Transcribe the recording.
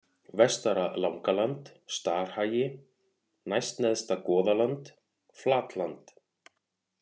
Vestara-Langaland, Starhagi, Næstneðsta-Goðaland, Flatland